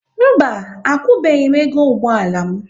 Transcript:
Mba, akwụbeghi m ego ụgbọala m